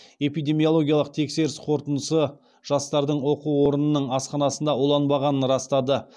эпидемиологиялық тексеріс қорытындысы жастардың оқу орнының асханасында уланбағанын растады